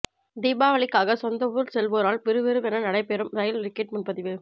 தீபாவாளிக்காக சொந்த ஊர் செல்வோரால் விறுவிறுவென நடைபெறும் ரயில் டிக்கெட் முன்பதிவு